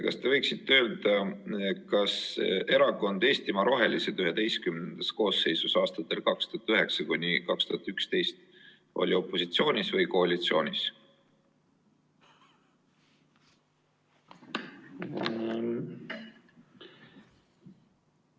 Kas te võiksite öelda, kas Erakond Eestimaa Rohelised XI koosseisus aastatel 2009–2011 oli opositsioonis või koalitsioonis?